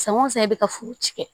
San o san e bɛ ka furu ci kɛ